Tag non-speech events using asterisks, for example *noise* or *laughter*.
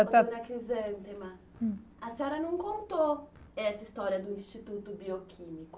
*unintelligible* A senhora não contou essa história do Instituto Bioquímico.